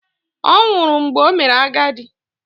Ọ̀ nwụrụ mgbe o mere agadi?